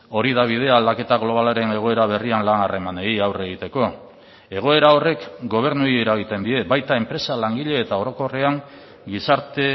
hori da bidea aldaketa globalaren egoera berrian lan harremanei aurre egiteko egoera horrek gobernuei eragiten die baita enpresa langile eta orokorrean gizarte